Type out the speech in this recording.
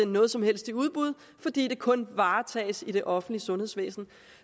noget som helst i udbud fordi det kun varetages i det offentlige sundhedsvæsen